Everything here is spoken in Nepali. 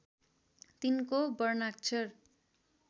तिनको वर्णाक्षर